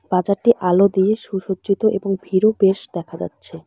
বাজারটি আলো দিয়ে সুসজ্জিত এবং ভিড়ও বেশ দেখা যাচ্ছে।